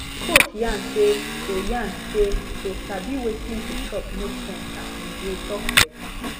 coach yarn say to yarn say to sabi wetin to chop make sense as we dey chop better